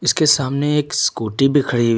इसके सामने एक स्कूटी भी खड़ी--